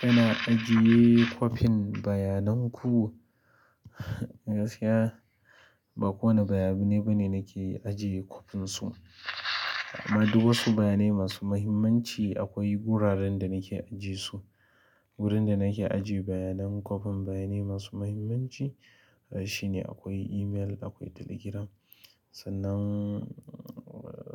Kana ajiye kwafin bayanan ku? Gaskiya ba kowane bayanai bane nake ajiye kwafin su. Amma duk wasu bayanai masu muhimmanci akwai wuraren da nake ajiye su. Wurin da nake ajiye bayanan kwafin bayanai masu muhimmanci shine akwai email, akwai Telegram. Sannan